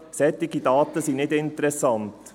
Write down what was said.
Solche Daten sind nicht interessant.